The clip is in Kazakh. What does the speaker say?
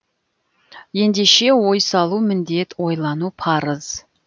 ендеше ой салу міндет ойлану парыз